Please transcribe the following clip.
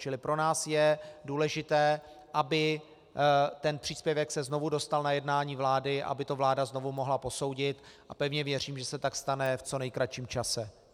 Čili pro nás je důležité, aby ten příspěvek se znovu dostal na jednání vlády, aby to vláda znovu mohla posoudit, a pevně věřím, že se tak stane v co nejkratším čase.